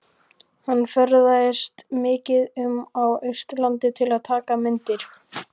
Hann ferðaðist mikið um á Austurlandi til að taka myndir.